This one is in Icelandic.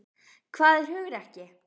Hvað er hugrekki?